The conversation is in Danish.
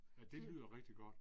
Ja det lyder rigtig godt